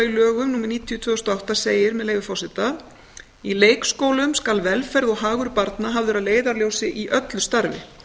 í lögum númer níutíu tvö þúsund og átta segir með leyfi forseta í leikskólum skal velferð og hagur barna hafður að leiðarljósi í öllu starfi